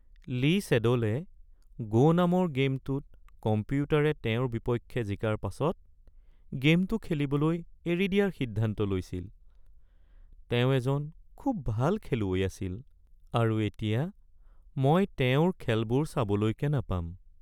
Lee ছেড'লে "Go'" নামৰ গে'মটোত কম্পিউটাৰে তেওঁৰ বিপক্ষে জিকাৰ পাছত গে'মটো খেলিবলৈ এৰি দিয়াৰ সিদ্ধান্ত লৈছিল। তেওঁ এজন খুব ভাল খেলুৱৈ আছিল আৰু এতিয়া মই তেওঁৰ খেলবোৰ চাবলৈকে নাপাম।